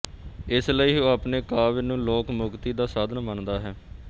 ਇਸ ਲਈ ਉਹ ਆਪਣੇ ਕਾਵਿ ਨੂੰ ਲੋਕ ਮੁਕਤੀ ਦਾ ਸਾਧਨ ਮੰਨਦਾ ਹੈ